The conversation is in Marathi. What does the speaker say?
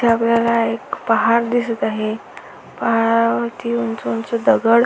इथ आपल्याला एक पहार दिसत आहे पहारावरती उंच उंच दगड --